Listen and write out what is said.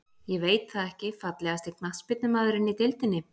Ég veit það ekki Fallegasti knattspyrnumaðurinn í deildinni?